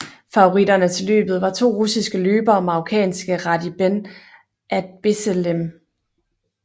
Favoritterne til løbet var to russiske løbere og marokanske Rhadi Ben Adbesselem